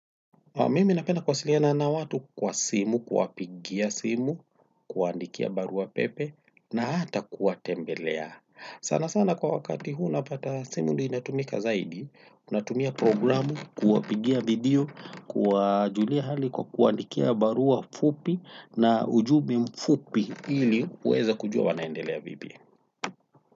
Mimi napena kuwasiliana na watu kwa simu. Kuwapigia simu, kuwaandikia barua pepe, na hata kuwatembelea. Sana sana kwa wakati huu napata simu ndiyo inatumika zaidi, unatumia programu, kuwapigia video, kuwajulia hali kwa kuwaandikia barua fupi na ujumbe mfupi ili kuweza kujua wanaendelea vipi.